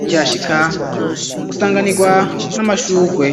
ukihashika usanganirwa n'amashurwe.